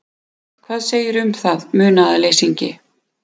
Hvað segirðu um það, munaðarleysingi?